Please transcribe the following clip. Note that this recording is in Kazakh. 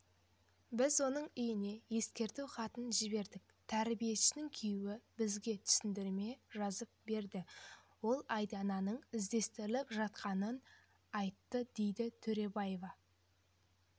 біз оның үйне ескерту хатын жібердік тәрбиешінің күйеуі бізге түсініктеме жазып берді ол айдананың іздестіріліп жатқанын айтты дейді төребаева